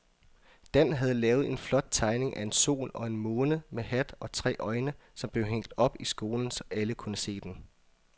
Dan havde lavet en flot tegning af en sol og en måne med hat og tre øjne, som blev hængt op i skolen, så alle kunne se den.